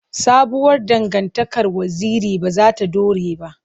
Sabuwar dangantakar Waziri ba za ta dore ba.